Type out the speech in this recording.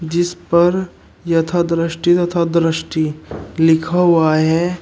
जिस पर यथा दृष्टि तथा दृष्टि लिखा हुआ है।